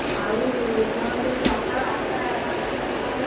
ଆଉ ନହଲେ ସକାଳ ଆଠଟା ନଅଟା ନହେଲା ପର୍ଯ୍ୟନ୍ତ।